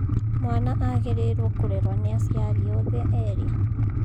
Mwana agĩrĩirwo kurerwa ni aciari othe eri